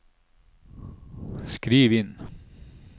skriv inn